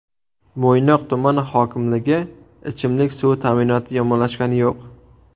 Mo‘ynoq tumani hokimligi: Ichimlik suvi ta’minoti yomonlashgani yo‘q.